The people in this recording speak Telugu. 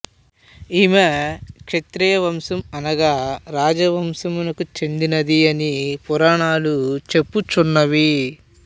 ఈమె క్షత్రియ వంశం అనగా రాజ వంశమునకు చెందినది అని పురాణములు చెప్పుచున్నవి